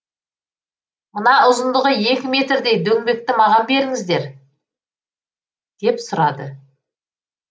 мына ұзындығы екі метрдей дөңбекті маған беріңіздер деп сұрады